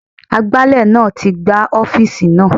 Agbálẹ̀ náà ti gbá ọ́fíìsì náà.